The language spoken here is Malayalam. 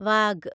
വാഗ്